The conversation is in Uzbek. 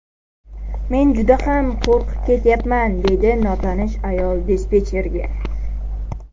Men juda ham qo‘rqib ketyapman”, deydi notanish ayol dispetcherga.